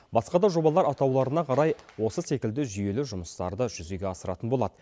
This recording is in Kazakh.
басқа да жобалар атауларына қарай осы секілді жүйелі жұмыстарды жүзеге асыратын болады